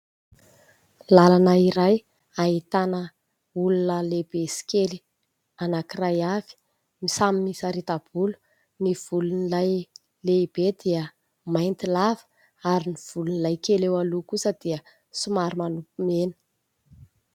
Lalana iray ahitana olona lehibe sy kely anankiray avy samy misarita-bolo, ny volon'ilay lehibe dia mainty lava ary ny volon'ilay kely eo aloha kosa dia somary manopy mena.